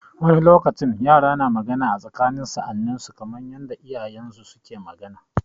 Wani lokacin yara suna magana a tsakanin sa'anninsu kamar yanda iyayensu suke magana.